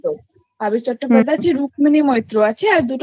আবির চট্টোপাধ্যায় রুক্মিণী মৈত্র আছে আর দুটো ছোট ছোট